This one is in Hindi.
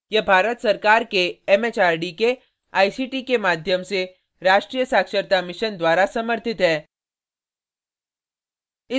यह भारत सरकार के एमएचआरडी के आईसीटी के माध्यम से राष्ट्रीय साक्षरता mission द्वारा समर्थित है